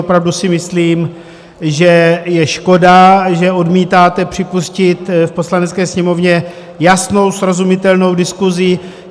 Opravdu si myslím, že je škoda, že odmítáte připustit v Poslanecké sněmovně jasnou, srozumitelnou diskusi.